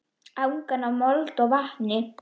Angan af mold og vatni.